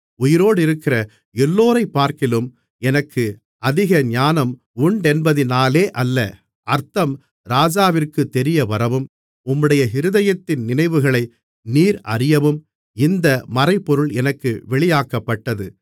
உயிரோடிருக்கிற எல்லோரைப்பார்க்கிலும் எனக்கு அதிக ஞானம் உண்டென்பதினாலே அல்ல அர்த்தம் ராஜாவிற்குத் தெரியவரவும் உம்முடைய இருதயத்தின் நினைவுகளை நீர் அறியவும் இந்த மறைபொருள் எனக்கு வெளியாக்கப்பட்டது